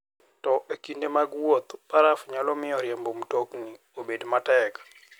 To e kinde mag wuoth, baraf nyalo miyo riembo mtoka obed matek.